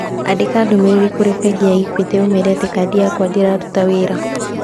Andĩka ndũmĩrĩri kũrĩ bengi ya Equity ũmeere atĩ kadi yakwa ndĩraruta wĩra.